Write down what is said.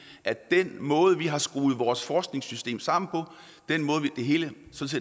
at den måde vi har skruet vores forskningssystem sammen på den måde det hele